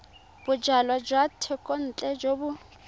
bojalwa jwa thekontle jo bo